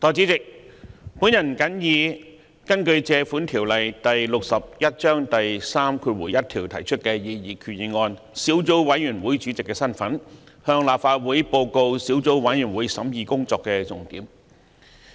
代理主席，我謹以根據《借款條例》第61章第31條提出的擬議決議案小組委員會主席的身份，向立法會報告小組委員會審議工作的重點。